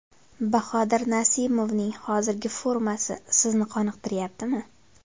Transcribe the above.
Bahodir Nasimovning hozirgi formasi sizni qoniqtiryaptimi?